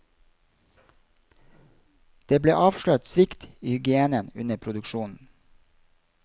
Det ble avslørt svikt i hygienen under produksjonen.